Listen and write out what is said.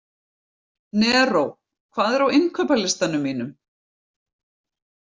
Neró, hvað er á innkaupalistanum mínum?